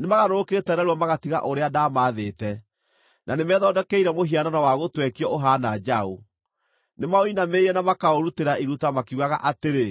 Nĩmagarũrũkĩte narua magatiga ũrĩa ndaamathĩte, na nĩmethondekeire mũhianano wa gũtwekio ũhaana njaũ. Nĩmaũinamĩrĩire na makaũrutĩra iruta makiugaga atĩrĩ,